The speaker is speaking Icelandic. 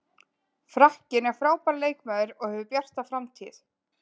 Frakkinn er frábær leikmaður og hefur bjarta framtíð.